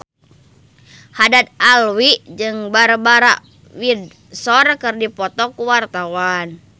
Haddad Alwi jeung Barbara Windsor keur dipoto ku wartawan